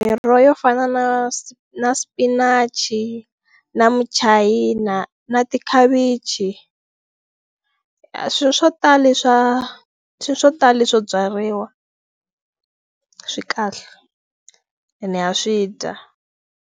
Miroho yo fana na na spinach na michayina na tikhavichi swilo swo tala leswa swilo swo tala leswo byariwa swi kahle ene ha swi dya.